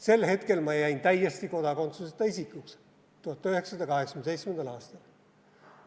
Sel hetkel ma jäin täiesti kodakondsuseta isikuks, 1987. aastal.